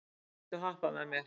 Galti, viltu hoppa með mér?